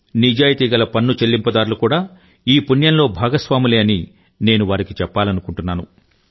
నిజాయితీగల పన్ను చెల్లింపుదారులు కూడా ఈ పుణ్యంలో భాగస్వాములే అని నేను వారికి చెప్పాలనుకుంటున్నాను